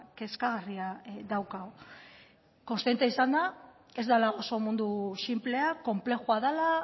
kezkagarria daukagu kontziente izanda ez dala oso mundu sinplea konplexua dela